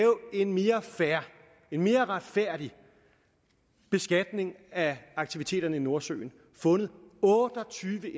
en mere fair en mere retfærdig beskatning af aktiviteterne i nordsøen fundet otte og tyve